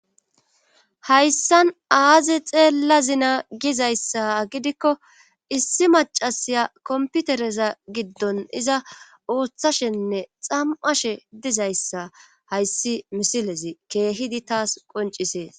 hayssan aazi xeellazina gizayssa gidikko issi macasiya komputereza giddon iza ooththashenne xam'ashe dizayssa hayssi misilezi keehidi taas qoncisees